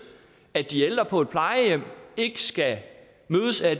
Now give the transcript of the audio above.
at de ældre på et plejehjem ikke skal mødes af